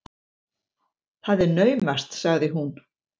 Það er naumast, sagði hún.